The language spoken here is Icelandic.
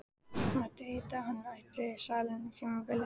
Mátti heita að hann ætti salinn á tímabili.